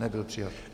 Nebyl přijat.